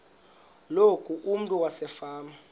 loku umntu wasefama